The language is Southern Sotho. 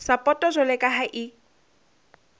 sapoto jwalo ka ha e